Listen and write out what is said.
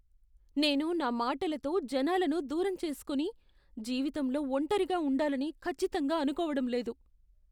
నేను నా మాటలతో జనాలను దూరం చేసుకొని జీవితంలో ఒంటరిగా ఉండాలని ఖచ్చితంగా అనుకోవడం లేదు.